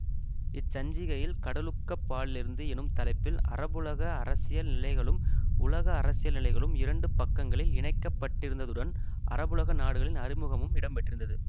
இச்சஞ்சிகையில் கடலுக்கப்பாலிருந்து எனும் தலைப்பில் அரபுலக அரசியல் நிலைகளும் உலக அரசியல் நிலைகளும் இரண்டு பக்கங்களில் இணைக்கப்பட்டிருந்ததுடன் அரபுலக நாடுகளின் அறிமுகமும் இடம்பெற்றிருந்தது